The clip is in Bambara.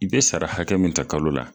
I be sara hakɛ min ta kalo la